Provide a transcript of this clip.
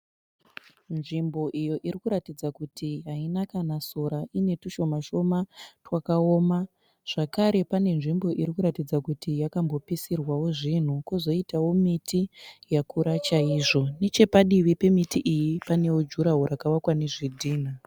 Nzvimbo iyo irikuratidza kuti haina sora ine tushoma shoma twakaoma. Zvakare pane nzvimbo irikuratidza kuti yakambopisirwawo zvinhu kozoitawo miti yakura chaizvo. Nechepadivi pamiti iyi panewo juraho rakavakwa nezvidhinha.